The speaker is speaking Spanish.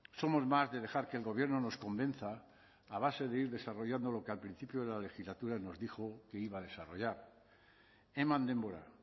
somos más de dejar que el gobierno nos convenza a base de ir desarrollando lo que al principio de la legislatura nos dijo que iba a desarrollar eman denbora